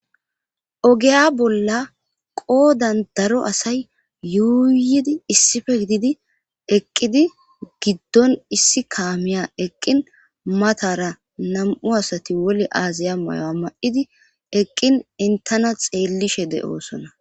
Ogeya bolla qoodan daro asay yuuyidi issife gididi eqqidi giddon issi kaamiya eqqin matara nam'u asati woli aaziya mayoa ma'idi eqqin intana xeellishe de'oosona.